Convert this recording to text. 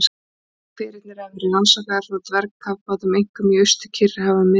Hverirnir hafa verið rannsakaðir frá dvergkafbátum, einkum í Austur-Kyrrahafi og um miðbik